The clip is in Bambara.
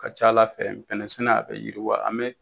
Ka ca Ala fɛ bɛnɛ sɛnɛ a bɛ yiriwa an bɛ